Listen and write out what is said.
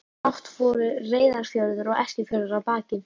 Brátt voru Reyðarfjörður og Eskifjörður að baki.